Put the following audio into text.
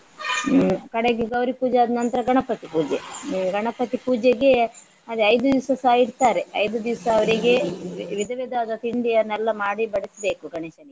ಕಡೆಗೆ ಗೌರಿ ಪೂಜೆ ಆದ್ನಂತ್ರ ಗಣಪತಿ ಪೂಜೆ. ಗಣಪತಿ ಪೂಜೆಗೆ ಅದೇ ಐದು ದಿವಸಸ ಇಡ್ತಾರೆ. ಐದು ದಿವಸ ಅವ್ರಿಗೆ ವಿಧ ವಿಧವಾದ ತಿಂಡಿಯನ್ನೆಲ್ಲ ಮಾಡಿ ಬಡಿಸ್ಬೇಕು ಗಣೇಶನಿಗೆ.